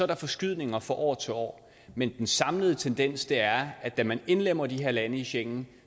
er forskydninger fra år til år men den samlede tendens er at da man indlemmer de her lande i schengen